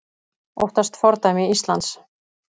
Óttast fordæmi Íslands